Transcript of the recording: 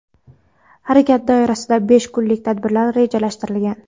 Harakat doirasida besh kunlik tadbirlar rejalashtirilgan.